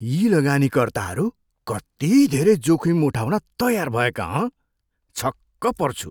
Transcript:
यी लगानीकर्ताहरू कति धेरै जोखिम उठाउन तयार भएका, हँ? छक्क पर्छु।